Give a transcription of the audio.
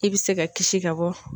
I bɛ se ka kisi ka bɔ.